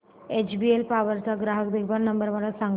HBL power चा ग्राहक देखभाल नंबर मला सांगा